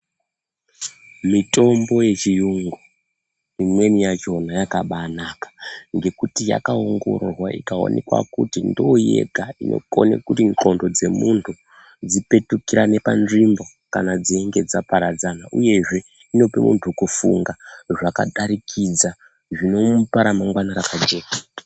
Mitombo yechiyungu imweni yacho yakambanaka ngekuti yakaongororwa ikaonekwa kuti ndiyo yega inokona kuti nghlondo dzemunhu dzipetukirane patsvimbo kana dzichinge dzaparadzana uyezve inopa munhu kufunga zvakadarikidza zvinomupa ramangwana rakajeka